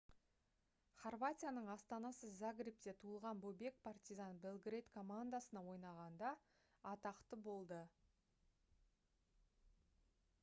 хорватияның астанасы загребте туылған бобек partizan belgrade командасына ойнағанда атақты болды